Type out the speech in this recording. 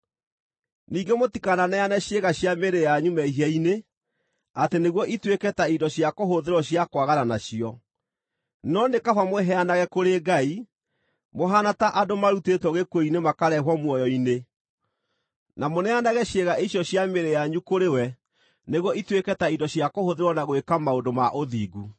Ningĩ mũtikananeane ciĩga cia mĩĩrĩ yanyu mehia-inĩ, atĩ nĩguo ituĩke ta indo cia kũhũthĩrwo cia kwagana nacio, no nĩ kaba mwĩheanage kũrĩ Ngai, mũhaana ta andũ marutĩtwo gĩkuũ-inĩ makarehwo muoyo-inĩ na mũneanage ciĩga icio cia mĩĩrĩ yanyu kũrĩ we nĩguo ituĩke ta indo cia kũhũthĩrwo na gwĩka maũndũ ma ũthingu.